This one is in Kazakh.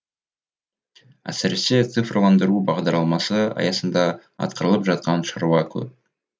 әсіресе цифрландыру бағдарламасы аясында атқарылып жатқан шаруа көп